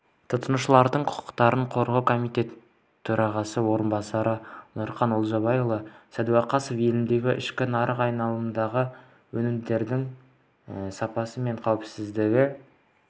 тұтынушылардың құқықтарын қорғау комитетітөрағасының орынбасары нұрқан олжабайұлы сәдуақасов елдің ішкі нарық айналымындағы өнімдердің сапасы мен қауіпсіздігі